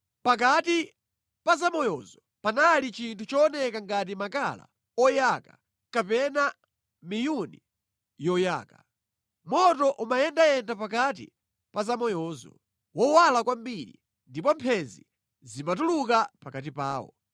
Pakati pa zamayozo panali chinthu chooneka ngati makala oyaka kapena miyuni yoyaka. Moto umayendayenda pakati pa zamayozo; wowala kwambiri, ndipo mphenzi zimatuluka pakati pawo.